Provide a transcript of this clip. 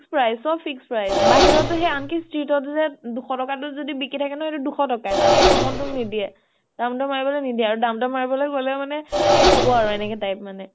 fixed price, চব fixed price । বাহিৰতো আনকি সেই street তো যে দুশ টকা তো যদি বিকি থাকে ন, সেইতো দুশ টকা য়ে । তাত্কে কʼম ত তোক নিদিয়ে । দাম দৰ মাৰিবলৈ নিদিয়ে । আৰু দাম দৰ মাৰিবলৈ গʼলে মানে, য়ে হʼব আৰু এনেকুৱা type মানে ।